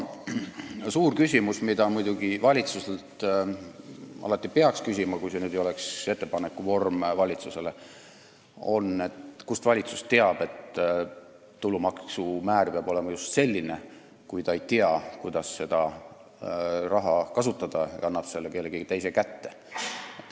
Suur küsimus, mida peaks muidugi alati valitsuselt küsima – kui ka ei oleks seda praegust ettepanekut –, on see, et kust valitsus teab, et tulumaksu määr peab olema just selline, kui ta ei tea, kuidas seda raha kasutada, ja annab selle kellegi teise kätte.